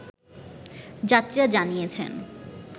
যাত্রীরা জানিয়েছেন